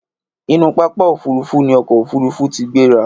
inú pápá òfurufú ní ọkọ ofurufu tí gbera